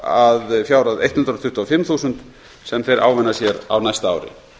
að fjárhæð hundrað tuttugu og fimm þúsund sem þeir ávinna sér á næsta ári